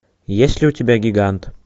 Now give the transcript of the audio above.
есть ли у тебя гигант